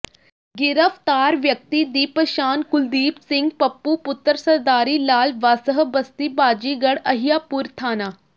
ਗਿ੍ਫ਼ਤਾਰ ਵਿਅਕਤੀ ਦੀ ਪਛਾਣ ਕੁਲਦੀਪ ਸਿੰਘ ਪੱਪੂ ਪੁੱਤਰ ਸਰਦਾਰੀ ਲਾਲ ਵਾਸਹ ਬਸਤੀ ਬਾਜੀਗਰ ਅਹਿਆਪੁਰ ਥਾਣਾ